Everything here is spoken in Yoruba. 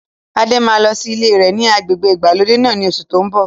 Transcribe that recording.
Adé máa ko lọ sí ilé rẹ ni agbègbè ìgbàlódé náà ni oṣù to ń bọ̀